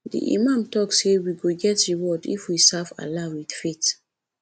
di imam talk say we go get reward if we serve allah with faith